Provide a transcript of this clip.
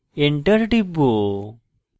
এবং enter টিপব